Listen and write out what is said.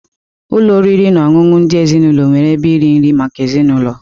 Ụlọ oriri na ọṅụṅụ ndị ezinaụlọ nwere ebe iri nri maka ezinụlọ.